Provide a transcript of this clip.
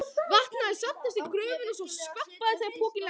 Vatn hafði safnast í gröfina svo skvampaði þegar pokinn lenti.